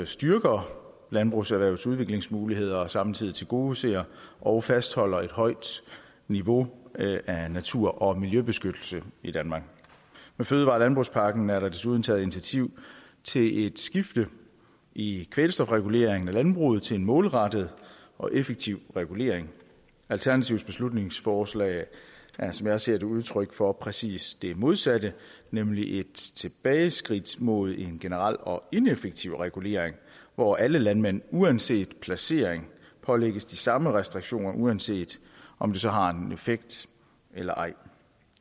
styrker landbrugserhvervets udviklingsmuligheder og samtidig tilgodeser og fastholder et højt niveau af natur og miljøbeskyttelse i danmark med fødevare og landbrugspakken er der desuden taget initiativ til et skifte i kvælstofreguleringen i landbruget til en målrettet og effektiv regulering alternativets beslutningsforslag er som jeg ser det udtryk for præcis det modsatte nemlig et tilbageskridt mod en generel og ineffektiv regulering hvor alle landmænd uanset placering pålægges de samme restriktioner uanset om det så har en effekt eller ej